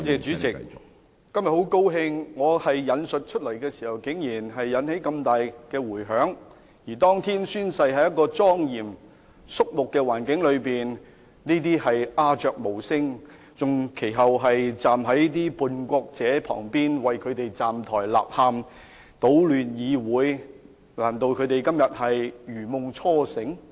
主席，今天很高興我引述的說話竟然引起這麼大的迴響，而當天宣誓，是在一個莊嚴、肅穆的環境中，但這些議員則鴉雀無聲，其後更站在叛國者的旁邊，為他們站台納喊、搗亂議會，難道這些議員今天如夢初醒？